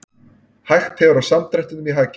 Hægt hefur á samdrættinum í hagkerfinu